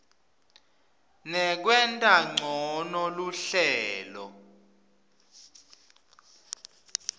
nekwenta ncono luhlelo